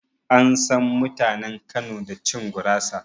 An san mutanen Kano da cin gurasa